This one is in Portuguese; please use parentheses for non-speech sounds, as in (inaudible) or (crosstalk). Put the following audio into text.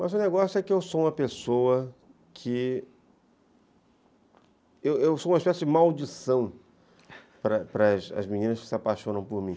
Mas o negócio é que eu sou uma pessoa que... Eu sou uma espécie de maldição (laughs) para as meninas que se apaixonam por mim.